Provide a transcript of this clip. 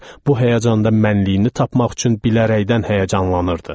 bu həyəcanda mənliyini tapmaq üçün bilərəkdən həyəcanlanırdı.